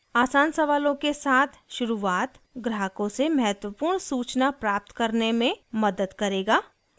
आसान सवालों के साथ शुरुआत ग्राहकों से महत्वपूर्ण सूचना प्राप्त करने में मदद करेगा